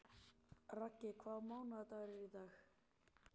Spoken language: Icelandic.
Raggi, hvaða mánaðardagur er í dag?